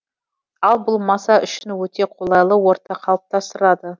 ал бұл маса үшін өте қолайлы орта қалыптастырады